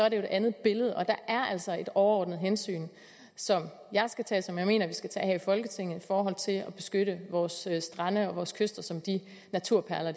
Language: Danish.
et andet billede og der er altså et overordnet hensyn som jeg skal tage og som jeg mener vi skal tage her i folketinget for at beskytte vores strande og vores kyster som de naturperler